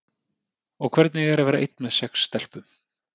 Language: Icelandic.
Og hvernig er að vera einn með sex stelpum?